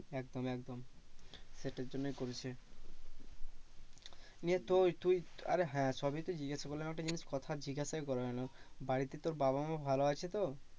একদম একদম সেটার জন্যই করেছে। নিয়ে তোর তুই আরে হ্যাঁ সবই তো জিজ্ঞাসা করলাম একটা জিনিস কথা জিজ্ঞাসাই করা হলো না বাড়িতে তোর বাবা মা ভালো আছে তো?